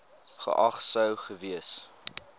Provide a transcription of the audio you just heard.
geag sou gewees